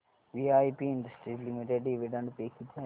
VIP Industries Limited dividend पे किती आहे